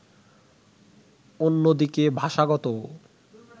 অন্যদিকে ভাষাগত